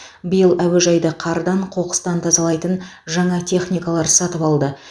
биыл әуежайды қардан қоқыстан тазалайтын жаңа техникалар сатып алды